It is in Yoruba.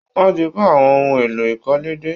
Wọ́n ti kó àwọn ohun èlò ìkọ́lé dé